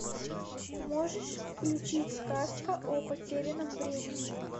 можешь включить сказка о потерянном времени